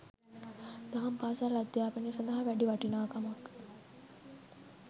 දහම් පාසල් අධ්‍යාපනය සඳහා වැඩි වටිනාකමක්